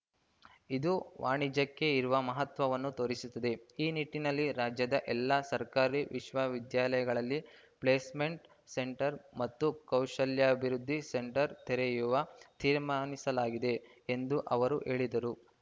ಇದು ವಾಣಿಜ್ಯಕ್ಕೆ ಇರುವ ಮಹತ್ವವನ್ನು ತೋರಿಸುತ್ತದೆ ಈ ನಿಟ್ಟಿನಲ್ಲಿ ರಾಜ್ಯದ ಎಲ್ಲ ಸರ್ಕಾರಿ ವಿಶ್ವವಿದ್ಯಾಲಯಗಳಲ್ಲಿ ಪ್ಲೇಸ್‌ಮೆಂಟ್‌ ಸೆಂಟರ್‌ ಮತ್ತು ಕೌಶಲ್ಯಾಭಿವೃದ್ಧಿ ಸೆಂಟರ್‌ ತೆರೆಯುವ ತೀರ್ಮಾನಿಸಲಾಗಿದೆ ಎಂದು ಅವರು ಹೇಳಿದರು